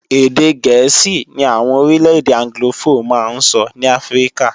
Èdè gẹ̀ẹ́sì ní àwọn orílẹ̀-èdè anglofó máa ń sọ ní Áfríkà